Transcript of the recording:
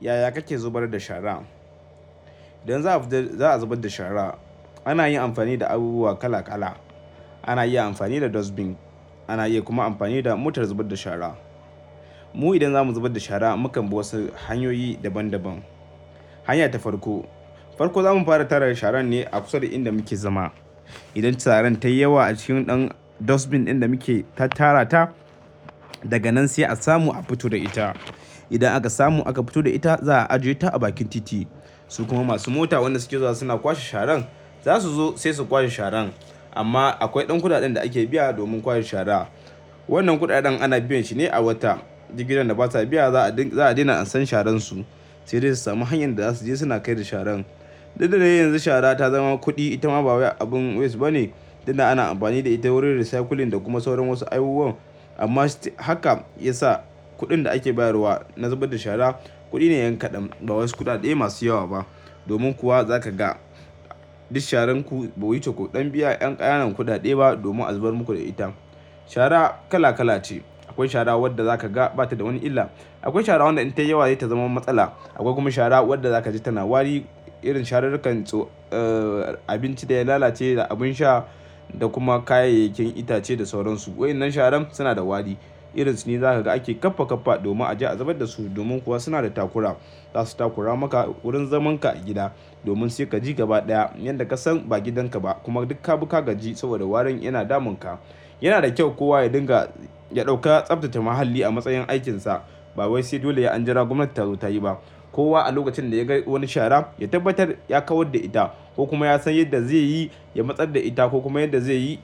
Yaya kake zubar da shara? Idan za za a zubar da shara ana yin amfani da abubuwa kala- kala. Ana iya amfani da dustbin, ana iya kuma amfani da motar zubar da shara. Mu idan zamu zubar da shara, mukan bi wasu hanyoyi daban-daban. Hanya ta farko, farko zamu fara tara sharan ne a kusa da inda muke zama. Idan sharan tayi yawa a cikin ɗan dustbin ɗin da muke tara ta, daga nan sai a samu a fito da ita. Idan aka samu aka fito da ita za a ajiyeta a bakin titi. Su kuma masu mota wanda suke zuwa suna kwashe sharan, za su zo sai su kwashe sharan. Amma akwai ɗan kuɗaɗen da ake biya domin kwashe shara. Wannan kuɗaɗen ana biyan shi ne a wata. Duk gidan da basa biya za a daina an san sharansu. Sai dai su sami hanyar da za su je suna kai da sharan. Duk da dai yanzu shara ta zama kuɗi. Ita ma ba wai abin waste bane. Duk da ana amfani da ita wurin recycling da kuma sauran wasu abubuwan. Amma haka ya sa kuɗin da ake bayarwa na zubar da shara kuɗi ne yan kaɗan. Ba wasu kuɗaɗe masu yawa ba. Domin kuwa zaka ga duk sharanku bai wuce ku ɗan biyan 'yan ƙananan kuɗaɗe ba domin a zubar muku da ita. Shara kala kala ce. Akwai shara wadda zaka ga bata da wani illa. Akwai shara wadda idan ta yi yawa sai ta zama matsala. Akwai kuma shara wadda zaka ji tana wari. Irin sharurrukan abinci da ya lalace da abin sha da kuma kayayyakin itace da sauran su. Wa'innan sharan suna da wari. Irin su ne zaka ga ake kaffa-kaffa domin a je a zubar da su. Domin kuwa suna da takura. Za su takura maka wurin zamanka a gida. Domin sai ka ji gaba ɗaya yadda ka san ba gidanka ba kuma duk ka bika gaji saboda warin yana damunka. Yana da kyau kowa ya dinga ya ɗauka tsaftace muhalli a matsayin aikinsa. Ba wai sai dole sai anjira gwamnati tazo tayi ba. Kowa a lokacin da ya ga wani shara, ya tabbatar ya kawar da ita ko kuma ya san yadda zai yi ya matsar da ita ko kuma yadda zai yi